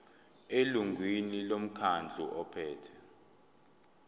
elungwini lomkhandlu ophethe